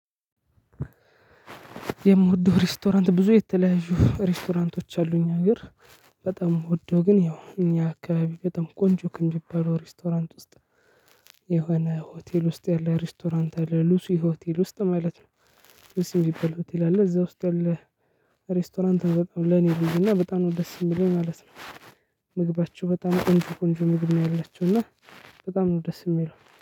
የምወደው ሬስቶራንት ብዙ የተለያዩ ሬስቶራንቶች አሉ እኛ አገር። በጣም ምወደው ግን ያው እኛ አካባቢ በጣም ቆንጆ ከሚባሉ ሬስቶራንት ውስጥ። የሆነ ሆቴል ውስጥ ያለ ሬስቶራንት አለ ሉሲ ሆቴል ውስጥ ማለት ነው። ሉሲ ሚባል ሆቴል አለ እዛ ውስጥ ያለ። ሬስቶራንት በጣም ለኔ ልዩ እና በጣም ነው ደስ የሚለው ማለት ነው። ምግባቸው በጣም ቆንጆ ቆንጆ ምግብ ነው ያላቸው እና። በጣም ነው ደስ የሚለው